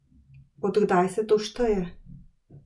Od kdaj se to šteje?